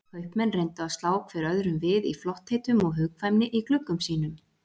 Kaupmenn reyndu að slá hver öðrum við í flottheitum og hugkvæmni í gluggum sínum.